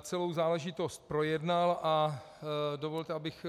Celou záležitost projednal a dovolte, abych